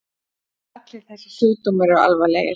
Allir þessir sjúkdómar eru alvarlegir.